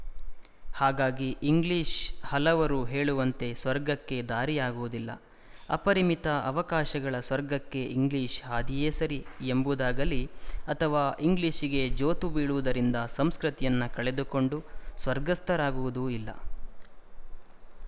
ಹಾಗಾಗಿ ಇಂಗ್ಲಿಶ ಹಲವರು ಹೇಳುವಂತೆ ಸ್ವರ್ಗಕ್ಕೆ ದಾರಿಯಾಗುವುದಿಲ್ಲ ಅಪರಿಮಿತ ಅವಕಾಶಗಳ ಸ್ವರ್ಗಕ್ಕೆ ಇಂಗ್ಲಿಶ ಹಾದಿಯೇ ಸರಿ ಎಂಬುದಾಗಲೀ ಅಥವಾ ಇಂಗ್ಲಿಶಿಗೆ ಜೋತುಬೀಳುವುದರಿಂದ ಸಂಸ್ಕೃತಿಯನ್ನು ಕಳೆದುಕೊಂಡು ಸ್ವರ್ಗಸ್ಥರಾಗುವುದೂ ಇಲ್ಲ